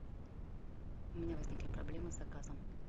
у меня возникли проблемы с заказом